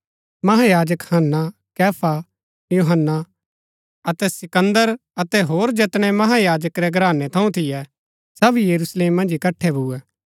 महायाजक हन्ना कैफा यूहन्‍ना अतै सिकन्दर अतै होर जैतनै महायाजक रै घरानै थऊँ थियै सब यरूशलेम मन्ज इकट्ठै भुऐ